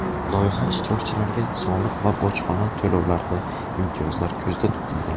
Loyiha ishtirokchilariga soliq va bojxona to‘lovlarida imtiyozlar ko‘zda tutilgan.